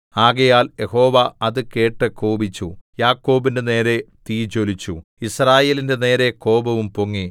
ആകയാൽ യഹോവ അത് കേട്ട് കോപിച്ചു യാക്കോബിന്റെ നേരെ തീ ജ്വലിച്ചു യിസ്രായേലിന്റെ നേരെ കോപവും പൊങ്ങി